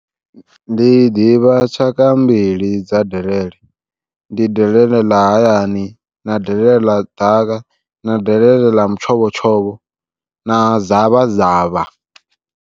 Ndi ḓivha tshaka mbili dza delele ndi delele ḽa hayani, na delele ḽa ḓaka, na delele ḽa mutshovhotshovho, na zavha zavha.